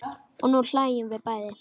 Og nú hlæjum við bæði.